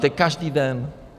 To je každý den.